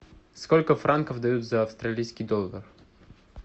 сколько франков дают за австралийский доллар